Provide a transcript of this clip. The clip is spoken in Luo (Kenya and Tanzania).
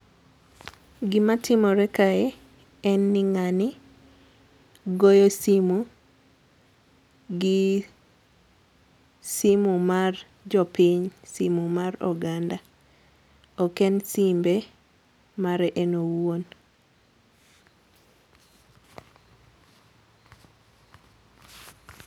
Gima timore kae en ni ng'ani goyo simu gi simu mar jopiny, simu mar oganda. Ok en simbe, mare en owuon.